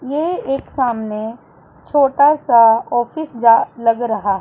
ये एक सामने छोटा सा ऑफिस जा लग रहा--